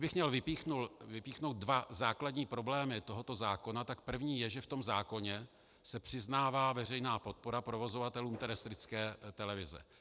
Kdybych měl vypíchnout dva základní problémy tohoto zákona, tak první je, že v tom zákoně se přiznává veřejná podpora provozovatelům terestrické televize.